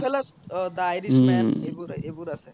good fellas oh the irish man এইবোৰ এইবোৰ আছে